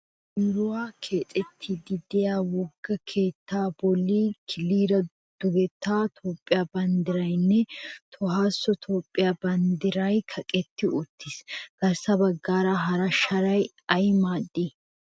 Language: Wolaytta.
Issi biron keexettiddi diya wogga keettaa bolli killiira dugettaa Toophiyaa bandiraynne Tohossa toopiya banddiray kaqetti uttiissi. Garssa baggaara hara sharay ay maadi?